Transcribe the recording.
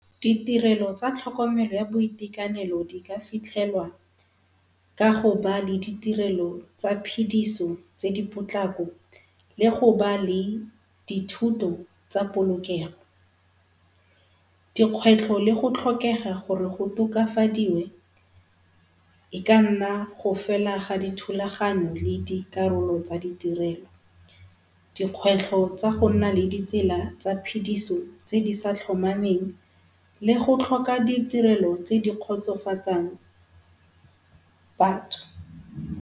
Ditirelo tsa tlhokomelo ya boitekanelo di ka fitlhelwa ka go ba le ditirelo tsa phidiso tse di potlako le go ba le dithuto tsa polokego. Di kgwetlho le go tlhokega gore go tokafadiwe e ka nna go fela ga dithulaganyo le dikarolo tsa ditirelo. Dikgwetlho tsa go nna le ditsela tsa phidiso tse di sa tlhomameng le go tlhoka ditirelo tse di kgotsofatsang batho.